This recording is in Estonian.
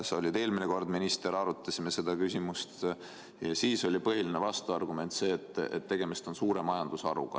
Kui sa eelmine kord minister olid, siis arutasime seda küsimust ja põhiline vastuargument oli see, et tegemist on suure majandusharuga.